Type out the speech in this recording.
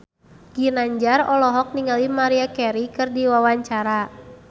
Ginanjar olohok ningali Maria Carey keur diwawancara